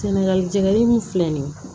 Sɛnɛgali jɛgɛni filɛ nin ye